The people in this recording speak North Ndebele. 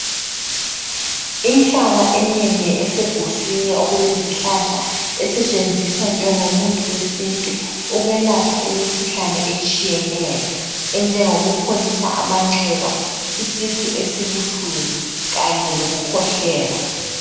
Inhlaba enengi eseguswini okulezi hlahla esetshenziswa njengomuthi wesintu ukwelapha imikhuhlane etshiyeneyo enjengo kupholisa amanxeba, isisu esibuhlungu kanye loku khwehlela.